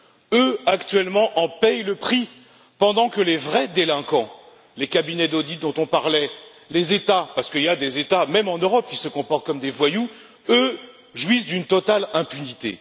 Eux, actuellement, en payent le prix, pendant que les vrais délinquants les cabinets d'audit dont on parlait et les États, parce qu'il y a des États, même en Europe, qui se comportent comme des voyous eux, jouissent d'une totale impunité.